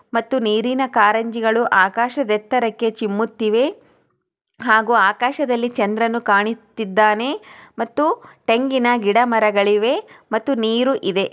ಮತ್ತು ನೀರಿನ ಕಾರಂಜಿಗಳು ಆಕಾಶದೆತ್ತರಕ್ಕೆ ಚಿಮ್ಮುತ್ತಿವೆ ಹಾಗು ಆಕಾಶದಲ್ಲಿ ಚಂದ್ರನು ಕಾಣಿತ್ತಿದ್ದಾನೆ ಮತ್ತು ತೆಂಗಿನ ಗಿಡಮರಗಳಿವೆ ಮತ್ತು ನೀರು ಇದೆ.